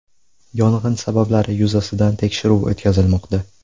Yong‘in sabablari yuzasidan tekshiruv o‘tkazilmoqda.